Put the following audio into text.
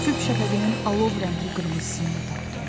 Sübh şəfəqinin alov rəngli qırmızısında da tapdım.